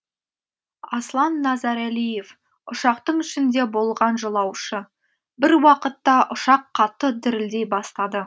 аслан назарәлиев ұшақтың ішінде болған жолаушы бір уақытта ұшақ қатты дірілдей бастады